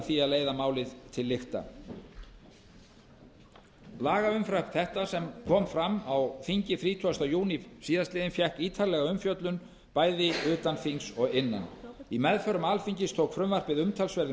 því að leiða málið til lykta lagafrumvarp þetta sem kom fram á þingi þrítugasta júní síðastliðinn fékk ítarlega umfjöllun bæði utan þings og innan í meðförum alþingis tók frumvarpið umtalsverðum